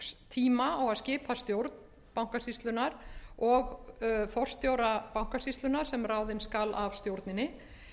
tíma á að skipa stjórn bankasýslunnar og forstjóra bankasýslunnar sem ráðinn skal af stjórninni